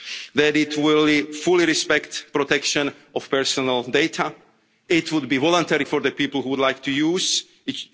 people that it will fully respect protection of personal data. It would be voluntary for the people who would like to